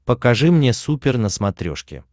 покажи мне супер на смотрешке